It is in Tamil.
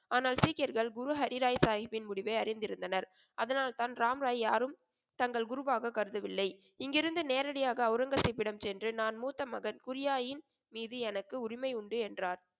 ஆனால் சீக்கியர்கள் குரு ஹரிராய்சாகிப்பின் முடிவை அறிந்திருந்தனர். அதனால் தான் ராம்ராயை யாரும் தங்கள் குருவாக கருதவில்லை. இங்கிருந்து நேரடியாக ஒளரங்கசீப்பிடம் சென்று நான் மூத்த மகன் குரியாயின் மீது எனக்கு உரிமை உண்டு என்றார்.